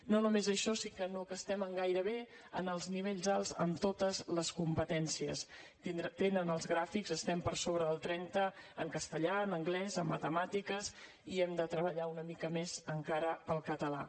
no només això sinó que estem gairebé en els nivells alts en totes les competències tenen els gràfics estem per sobre del trenta en castellà en anglès en matemàtiques i hem de treballar una mica més encara el català